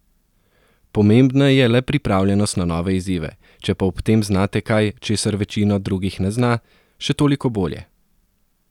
Pomembna je le pripravljenost na nove izzive, če pa ob tem znate kaj, česar večina drugih ne zna, še toliko bolje.